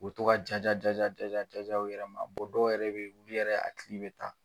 U bi to ka ja ja ja ja ja ja u yɛrɛ ma, dɔw yɛrɛ be yen olu yɛrɛ a hakili bɛ ta.